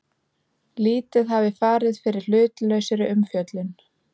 Lítið hafi farið fyrir hlutlausri umfjöllun